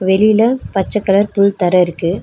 வெளில பச்ச கலர் புல் தர இருக்கு.